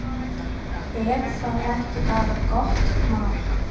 Er það ekki bara gott mál?